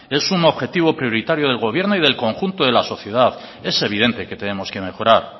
es un objetivo prioritario del gobierno y del conjunto de la sociedad es evidente que tenemos que mejorar